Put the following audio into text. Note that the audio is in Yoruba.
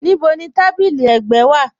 Níbò ni tábílí ẹ̀gbẹ̀ wa?